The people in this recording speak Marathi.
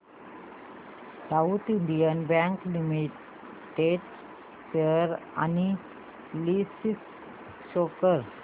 south Indian Bank Limited share analysis show कर